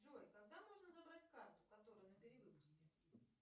джой когда можно забрать карту которая на перевыпуске